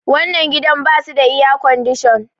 wannan gidan ba su da iyacodishan